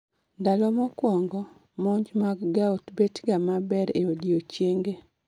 Ndalo mokuongo, monj mag gout bet ga maber e odiechienge